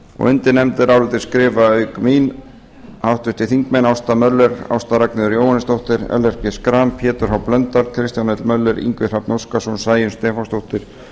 undir nefndarálitið skrifa auk mín háttvirtir þingmenn ásta möller ásta ragnheiður jóhannesdóttir ellert b schram pétur h blöndal kristján hrafn möller ingi hrafn óskarsson sæunn stefánsdóttir